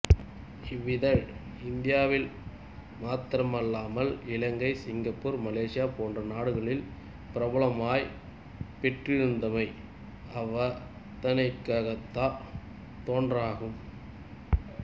இவ்விதழ் இந்தியாவில் மாத்திரமல்லாமல் Ilankai Singapore Malaysia போன்ற நாடுகளிலும் பிரபல்யம் பெற்றிருந்தமை அவதானிக்கத்தக்கதொன்றாகும்